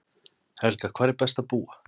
Helga: Hvar er best að búa?